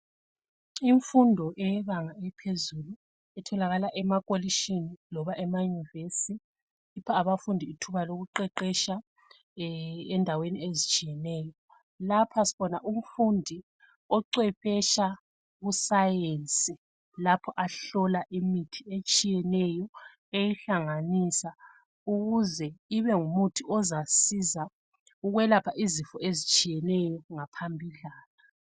Imfundo yebanga eliphezulu etholakala ema polishini loba ema University ipha abafundi ithuba lokuqeqetsha endaweni ezitshiyeneyo lapha sibona umfundi ocwephetsha kusayenci lapho ahlola imithi etshiyeneyo eyihlanganisa ukuze ibe ngumuthi ozasiza ukwelapha izifo ezitshiyeneyo.